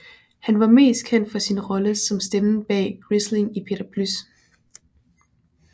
Han var mest kendt for sin rolle som stemmen bag Grisling i Peter Plys